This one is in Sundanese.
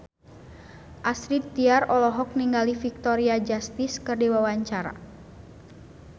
Astrid Tiar olohok ningali Victoria Justice keur diwawancara